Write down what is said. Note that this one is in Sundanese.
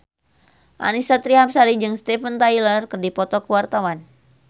Annisa Trihapsari jeung Steven Tyler keur dipoto ku wartawan